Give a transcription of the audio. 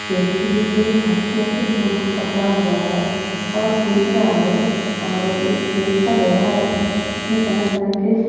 व्यक्ती है जो व्हाइट कलर के फूल को पकड़ा हुआ है। और देख रहा है। और खेत सा गया है। इसमे तरह तरह के--